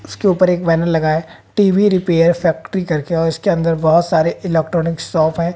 उसके ऊपर एक बैनर लगा है टी_वी रिपेयर फैक्ट्री करके और इसके अंदर बहुत सारे इलेक्ट्रॉनिक शॉप हैं।